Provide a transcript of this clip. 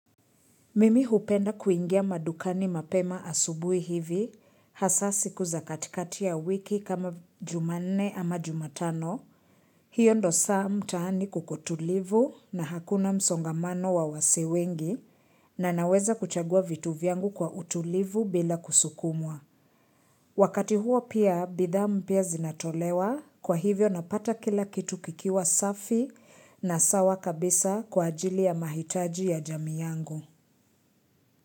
Mimi hupenda kuingia madukani mapema asubuhi hivi, hasa siku za katikati ya wiki kama jumanne ama jumatano. Hiyo ndio saa mtaani kuko tulivu na hakuna msongamano wa wasee wengi na naweza kuchagua vitu vyangu kwa utulivu bila kusukumwa. Wakati huo pia, bidhaa mpya zinatolewa, kwa hivyo napata kila kitu kikiwa safi na sawa kabisa kwa ajili ya mahitaji ya jamii yangu.